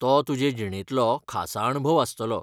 तो तुजे जिणेंतलो खासा अणभव आसतलो.